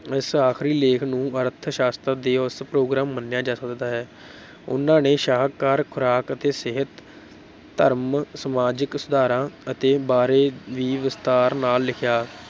ਇਸ ਆਖਰੀ ਲੇਖ ਨੂੰ ਅਰਥ ਸ਼ਾਸਤਰ ਤੇ ਉਸ ਪ੍ਰੋਗਰਾਮ ਮੰਨਿਆ ਜਾ ਸਕਦਾ ਹੈ ਉਹਨਾਂ ਨੇ ਸ਼ਾਕਾਹਾਰ, ਖੁਰਾਕ ਅਤੇ ਸਿਹਤ, ਧਰਮ, ਸਮਾਜਕ ਸੁਧਾਰਾਂ ਅਤੇ ਬਾਰੇ ਵੀ ਵਿਸਤਾਰ ਨਾਲ ਲਿਖਿਆ।